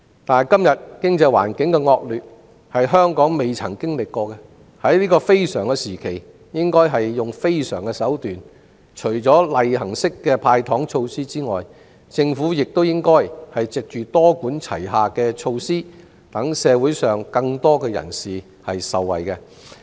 但是，今天經濟環境的惡劣是香港前所未有的，因此在這非常時期應採用非常手段，除例行式"派糖"措施外，政府亦應藉多管齊下的措施，讓社會上更多人士受惠。